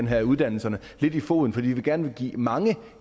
have i uddannelserne i foden fordi vi gerne vil give mange